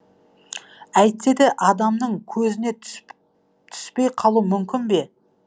әйтсе де адамның көзіне түспей қалу мүмкін бе